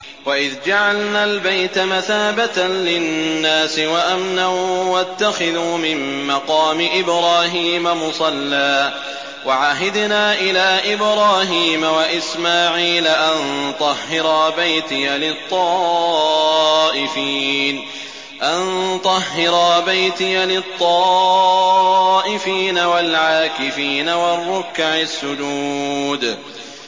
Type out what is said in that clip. وَإِذْ جَعَلْنَا الْبَيْتَ مَثَابَةً لِّلنَّاسِ وَأَمْنًا وَاتَّخِذُوا مِن مَّقَامِ إِبْرَاهِيمَ مُصَلًّى ۖ وَعَهِدْنَا إِلَىٰ إِبْرَاهِيمَ وَإِسْمَاعِيلَ أَن طَهِّرَا بَيْتِيَ لِلطَّائِفِينَ وَالْعَاكِفِينَ وَالرُّكَّعِ السُّجُودِ